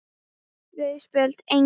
Rauð Spjöld: Engin.